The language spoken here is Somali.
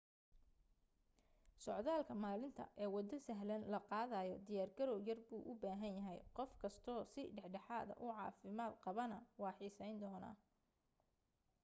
socdaalka maalinta ee waddo sahlan la qaadayo diyaar garaw yar buu u baahan yahay qof kasto si dhexdhexaada u caafimaad qabaana waa xiisayn doonaa